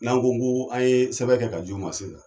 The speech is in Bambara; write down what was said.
N'an ko n kooo an yeee sɛbɛn kɛ ka ji u ma sisan.